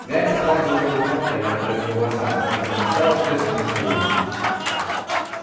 гарри сразу её узнал по ярко-рыжим волосам которыми отличалось все семейство уизли